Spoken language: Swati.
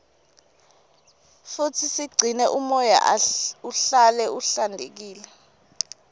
futsi sigcine umoya uhlale uhlantekile